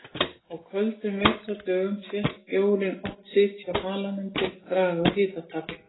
Á köldum vetrardögum sést bjórinn oft sitja á halanum til að draga úr hitatapi.